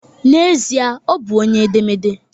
N'ezie, ọ bụ onye edemede